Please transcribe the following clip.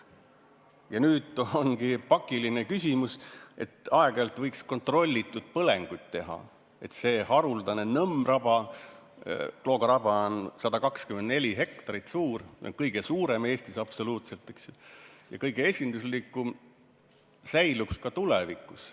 Ja nüüd ongi pakiline küsimus, et aeg-ajalt võiks kontrollitud põlenguid teha, et see haruldane nõmmraba – Klooga raba on 124 hektarit suur, kõige suurem Eestis ja kõige esinduslikum – säiliks ka tulevikus.